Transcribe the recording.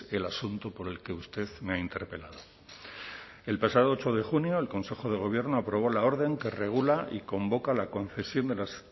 el asunto por el que usted me ha interpelado el pasado ocho de junio el consejo de gobierno aprobó la orden que regula y convoca la concesión de las